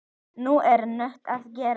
Núna er nóg að gera.